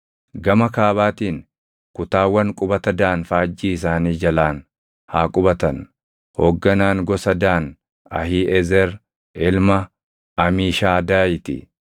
Gama kaabaatiin kutaawwan qubata Daan faajjii isaanii jalaan haa qubatan. Hoogganaan gosa Daan Ahiiʼezer ilma Amiishadaayii ti.